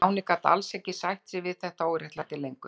En Stjáni gat alls ekki sætt sig við þetta óréttlæti lengur.